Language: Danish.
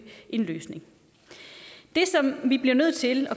en løsning vi bliver nødt til